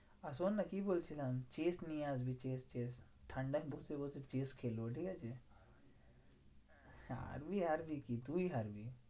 আর শোননা কি বলছিলাম? chess নিয়ে আসবি chess chess ঠান্ডায় বসে বসে chess খেলবো ঠিকাছে? আমি হারবি কি তুই হারবি।